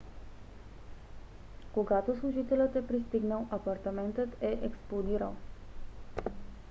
когато служителят е пристигнал апартаментът е експлодирал